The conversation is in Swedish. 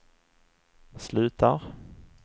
slutar